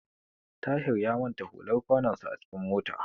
Tahir ya manta hular kwanonsa a cikin mota.